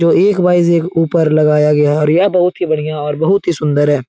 जो एक बाईज एक ऊपर लगाया गया है और यह बहुत ही बढ़िया और बहुत ही सुंदर है।